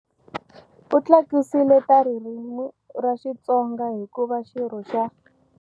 U tlakusile ta ririmi ra Xitsonga hi ku va xirho xa.